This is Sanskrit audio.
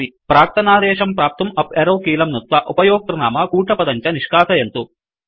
प्राक्तनादेशं प्राप्तुं अप एरो कीलं नुत्त्वा उपयोक्तृनाम कूटपदं च निष्कासयन्तु